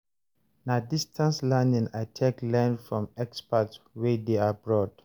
Na distance learning I take learn from experts wey dey abroad.